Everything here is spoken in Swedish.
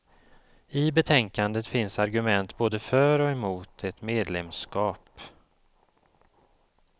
I betänkandet finns argument både för och emot ett medlemskap.